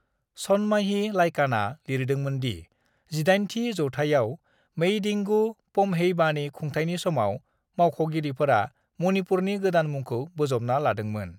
सनमाही लाइकानआ लिरदोंमोन दि जिदाइनथि जौथाइयाव मेइडिंगु पम्हेइबानि खुंथायनि समाव मावख'गिरिफोरा मणिपुरनि गोदान मुंखौ बोजबना लादोंमोन।